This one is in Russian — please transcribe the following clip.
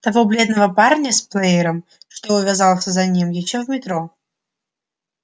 того бледного парня с плеером что увязался за ним ещё в метро